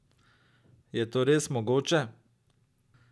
Je to res mogoče?